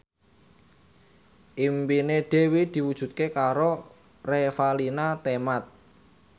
impine Dwi diwujudke karo Revalina Temat